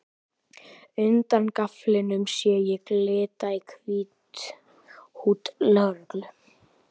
Undan gaflinum sé ég glitta í hvítt húdd lögreglu